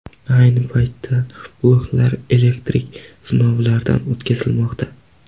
Ayni paytda bloklar elektrik sinovlardan o‘tkazilmoqda.